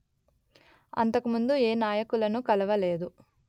అంతకుముందు ఏ నాయకులను కలువలేదు